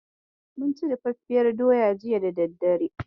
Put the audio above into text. Mun ci dafaffiyar doya jiya da daddare.